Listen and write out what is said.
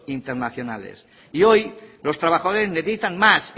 internacionales y hoy los trabajadores necesitan más